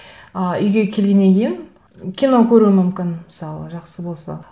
ы үйге келгеннен кейін кино көруім мүмкін мысалы жақсы болса